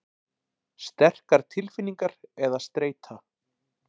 Sterkar tilfinningar eða streita.